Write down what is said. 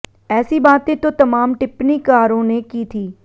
ऐसी बातें तो तमाम टिप्पणीकारों ने की थी